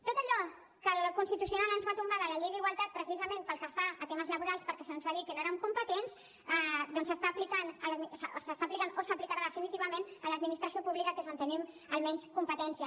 tot allò que el constitucional ens va tombar de la llei d’igualtat precisament pel que fa a temes laborals perquè se’ns va dir que no érem competents doncs s’està aplicant o s’aplicarà definitivament a l’administració pública que és on tenim almenys competència